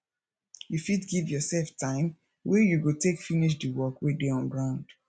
you fit give your self time wey you go take finish di work wey dey on ground